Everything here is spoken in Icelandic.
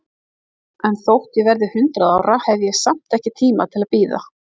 En þótt ég verði hundrað ára, hef ég samt ekki tíma til að bíða.